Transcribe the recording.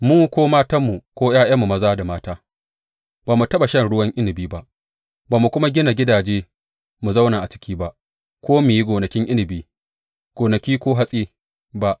Mu ko matanmu ko ’ya’yanmu maza da mata ba mu taɓa shan ruwan inabi ba ba mu kuma gina gidaje mu zauna a ciki ba ko mu yi gonakin inabi, gonaki ko hatsi ba.